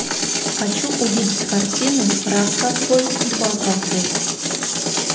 хочу увидеть картину раз ковбой два ковбой